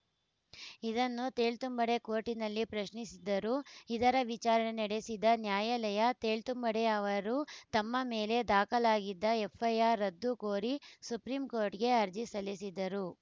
ಇದನ್ನು ತೇಳ್ತುಂಬಡೆ ಕೋರ್ಟ್‌ನಲ್ಲಿ ಪ್ರಶ್ನಿಸಿದ್ದರು ಇದರ ವಿಚಾರಣೆ ನಡೆಸಿದ ನ್ಯಾಯಾಲಯ ತೇಳ್ತುಂಬಡೆ ಅವರು ತಮ್ಮ ಮೇಲೆ ದಾಖಲಾಗಿದ್ದ ಎಫ್‌ಐಆರ್‌ ರದ್ದು ಕೋರಿ ಸುಪ್ರೀಂ ಕೋರ್ಟ್‌ಗೆ ಅರ್ಜಿ ಸಲ್ಲಿಸಿದರು